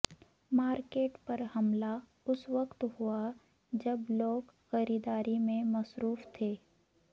market پر حملہ اسوقت ہوا جب لوگ خریداری میں مصروف تھے